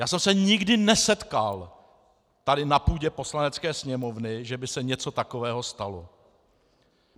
Já jsem se nikdy nesetkal tady na půdě Poslanecké sněmovny, že by se něco takového stalo.